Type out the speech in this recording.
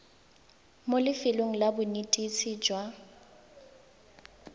mo lefelong la bonetetshi jwa